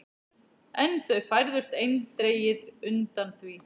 En þau færðust eindregið undan því.